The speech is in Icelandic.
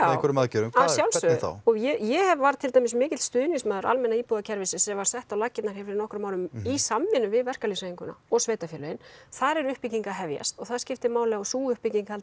einhverjum aðgerðum já að sjálfsögðu þá ég var mikill stuðningsmaður almenna íbúðakerfisins sem var sett á laggirnar fyrir nokkrum árum í samvinnu við verkalýðshreyfinguna og sveitarfélögin þar er uppbygging að hefjast og það skiptir máli að sú uppbygging haldi